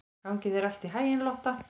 Gangi þér allt í haginn, Lotta.